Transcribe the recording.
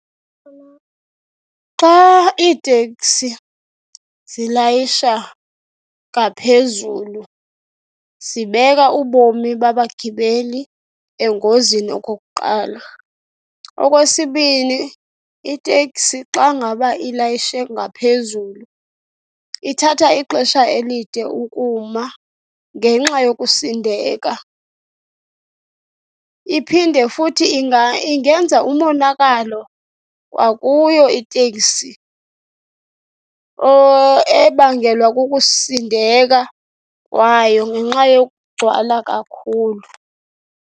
Xa iitekisi zilayisha ngaphezulu zibeka ubomi babagibeli engozini okokuqala. Okwesibini, iteksi xa ngaba ilayishe ngaphezulu ithatha ixesha elide ukuma ngenxa yokusindeka. Iphinde futhi ingenza umonakalo kwakuyo itekisi ebangelwa kukusindeka kwayo ngenxa yokugcwala kakhulu.